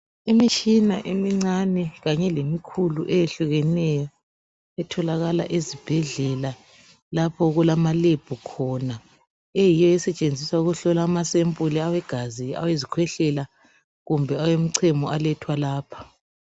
Imitshina emincane kanye lemikhulu ehlukeneyo etholakala ezibhedlela lapho okulama lab khona eyiyo esetshenziswa ukuhlola amasempuli awegazi awezikhwehlela kumbe awemichemo alethwa lapha.